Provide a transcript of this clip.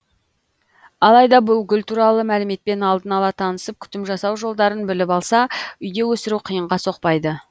алайда бұл гүл туралы мәліметпен алдын ала танысып күтім жасау жолдарын біліп алса үйде өсіру қиынға соқпайды